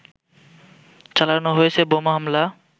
চালানো হয়েছে বোমা হামলা